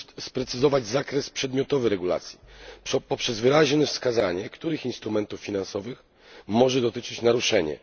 sprecyzować zakres przedmiotowy regulacji poprzez wyraźne wskazanie, których instrumentów finansowych może dotyczyć naruszenie.